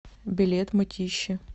билет мытищи